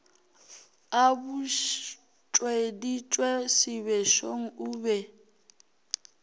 a butšweditše sebešong o be